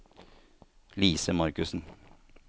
Lise Marcussen